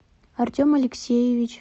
артем алексеевич